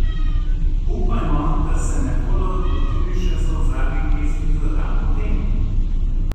Upajmo, da se ne bodo lotili še solzavih pesmi za dan potem!